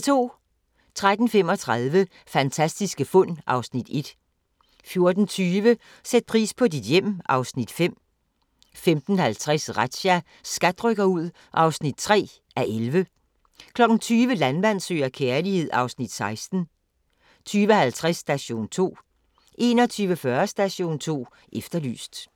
13:35: Fantastiske fund (Afs. 1) 14:20: Sæt pris på dit hjem (Afs. 5) 15:50: Razzia – SKAT rykker ud (3:11) 20:00: Landmand søger kærlighed (Afs. 16) 20:50: Station 2 21:40: Station 2 Efterlyst